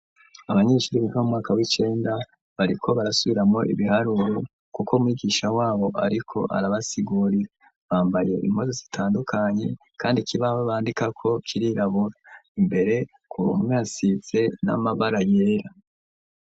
Abanyeshuri biga mumwaka w'icenda bariko barasubiramwo ibiharuro, kuko mwigisha wabo ariko arabasigurira ,bambariye impuzu zitandukanye, kandi kibaho bandikako, kirirabura imbere ku ruhome hasize n'amabara yera.